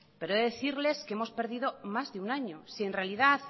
pero he de decirles que hemos perdido más de un año si en realidad